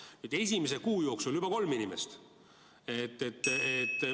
Aga nüüd esimese kuu jooksul juba kolm inimest.